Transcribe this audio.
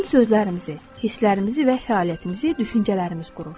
Bizim sözlərimizi, hisslərimizi və fəaliyyətimizi düşüncələrimiz qurur.